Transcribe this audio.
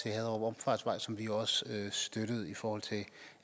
haderup omfartsvej som vi jo også støttede altså i forhold til